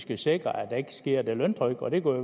vi sikrer at der ikke sker løntrykkeri og